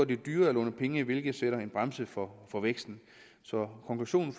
det dyrere at låne penge hvilket sætter en bremse for for væksten så konklusionen